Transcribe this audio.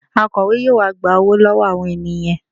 Akọ̀we yóò wá gba owó lọ́wọ́ àwọn ènìyàn